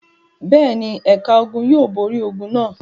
Bẹ́ẹ̀ ni, ẹ̀ka ogun yóò borí ogun náà.